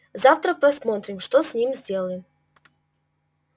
завтра посмотрим что с ним сделаем